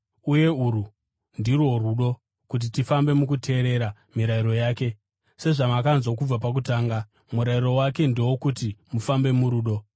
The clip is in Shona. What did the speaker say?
Uye urwu ndirwo rudo: kuti tifambe mukuteerera mirayiro yake. Sezvamakanzwa kubva pakutanga, murayiro wake ndewokuti mufambe murudo.